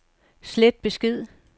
slet besked